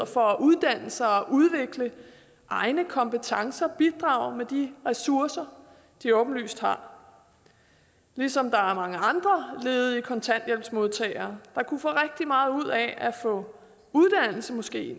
for at uddanne sig og udvikle egne kompetencer bidrage med de ressourcer de åbenlyst har ligesom der er mange andre ledige kontanthjælpsmodtagere der kunne få rigtig meget ud af at få uddannelse måske